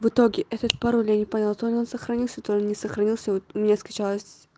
в итоге этот пароль я не понял то ли он сохранился то ли не сохранился вот у меня скачалось